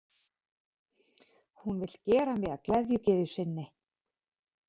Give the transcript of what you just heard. Hún vill gera mig að gleðigyðju sinni.